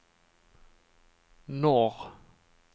norr